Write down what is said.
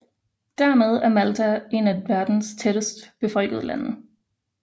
Dermed er Malta et af verdens tættest befolkede lande